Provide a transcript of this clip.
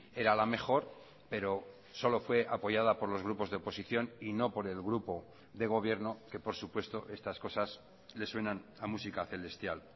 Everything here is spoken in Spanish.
era la mejor pero solo fue apoyada por los grupos de oposición y no por el grupo de gobierno que por supuesto estas cosas les suenan a música celestial